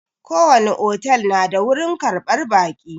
Ko wani otel na da wurin ƙarɓar baƙi